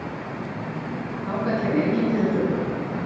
Þangað kæmi enginn til að trufla.